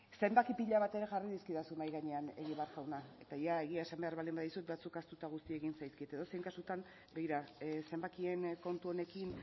zenbaki pila bat ere jarri dizkidazun mahai gainean egibar jauna eta egia esan behar baldin baduzu batzuk ahaztu eta guzti egin zaizkit edozein kasutan begira zenbakien kontu honekin